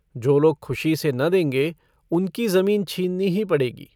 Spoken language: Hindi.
जो लोग खुशी से न देंगे उनकी जमीन छीननी ही पड़ेगी।